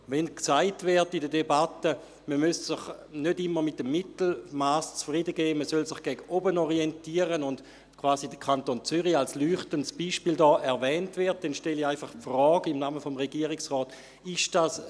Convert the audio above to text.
Wenn in der Debatte gesagt wird, man müsse sich nicht immer mit dem Mittelmass zufriedengeben, man solle sich gegen oben orientieren, und wenn dabei der Kanton Zürich quasi als leuchtendes Beispiel erwähnt wird, dann stelle ich im Namen des Regierungsrates einfach folgende Frage: